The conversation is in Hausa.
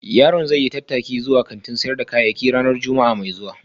Yaron zai yi tattaki zuwa kantin sayar da kayayyaki ranar Juma'a mai zuwa